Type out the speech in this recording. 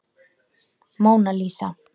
Móna Lísa.